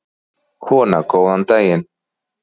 Kona: Góðan daginn.